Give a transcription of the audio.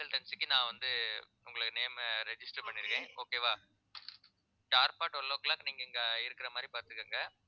consultancy க்கு நான் வந்து உங்களை name அ register பண்ணிருக்கேன் okay வா sharp twelve o'clock கு நீங்க இங்க இருக்கிற மாதிரி பார்த்துக்கோங்க